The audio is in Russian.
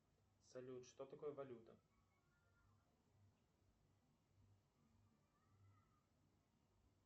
салют что такое валюта